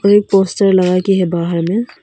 एक पोस्टर लगाई गई है बाहर में।